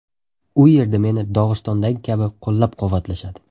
U yerda meni Dog‘istondagi kabi qo‘llab-quvvatlashadi.